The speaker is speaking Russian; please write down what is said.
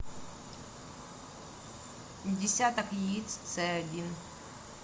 десяток яиц ц один